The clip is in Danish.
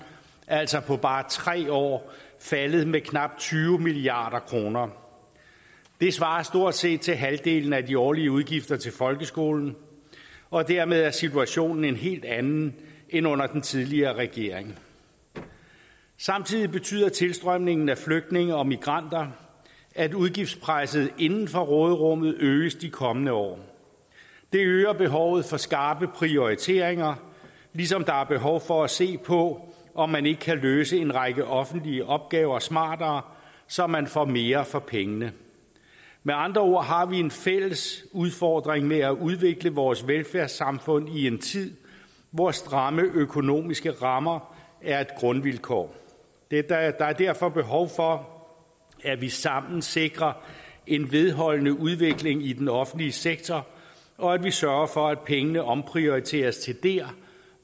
altså på bare tre år faldet med knap tyve milliard kroner det svarer stort set til halvdelen af de årlige udgifter til folkeskolen og dermed er situationen en helt anden end under den tidligere regering samtidig betyder tilstrømningen af flygtninge og migranter at udgiftspresset inden for råderummet øges de kommende år det øger behovet for skarpe prioriteringer ligesom der er behov for at se på om man ikke kan løse en række offentlige opgaver smartere så man får mere for pengene med andre ord har vi en fælles udfordring med at udvikle vores velfærdssamfund i en tid hvor stramme økonomiske rammer er et grundvilkår der er derfor behov for at vi sammen sikrer en vedholdende udvikling i den offentlige sektor og at vi sørger for at pengene omprioriteres til der